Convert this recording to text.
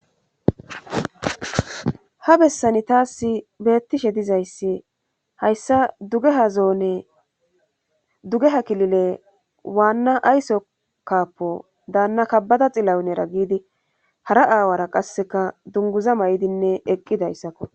ha bessani taas beettishe dizayssi hayssa de zoonedugeha kilile waanna ayso kappo daanna kabbada xilawunera giidi hara aawara qasseka dunguza may7idinne eqqidayssakko